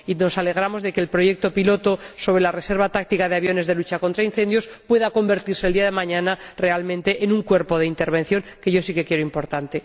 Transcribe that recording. Y nos alegramos de que el proyecto piloto sobre la reserva táctica de aviones de lucha contra incendios pueda convertirse el día de mañana, realmente, en un cuerpo de intervención, que yo sí que creo importante.